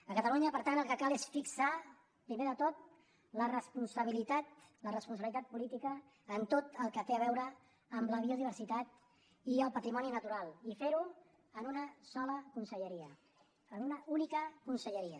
a catalunya per tant el que cal és fixar primer de tot la responsabilitat la responsabilitat política en tot el que té a veure amb la biodiversitat i el patrimoni natural i fer ho en una sola conselleria en una única conselleria